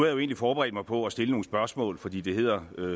jo egentlig forberedt mig på at stille nogle spørgsmål fordi der hedder